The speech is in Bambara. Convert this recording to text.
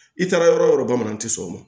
I taara yɔrɔ o yɔrɔ bamanan tɛ sɔn o ma